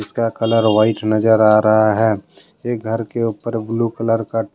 इसका colour white नजर आ रहा है एक घर के ऊपर ब्लू कलर का--